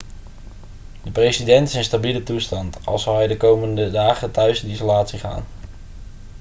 de president is in stabiele toestand al zal hij de komende dagen thuis in isolatie gaan